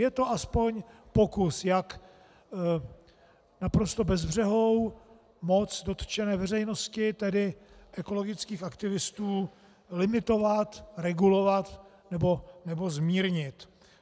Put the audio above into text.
Je to aspoň pokus, jak naprosto bezbřehou moc dotčené veřejnosti, tedy ekologických aktivistů, limitovat, regulovat nebo zmírnit.